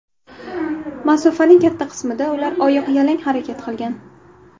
Masofaning katta qismida ular oyoqyalang harakat qilgan.